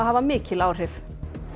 hafa mikil áhrif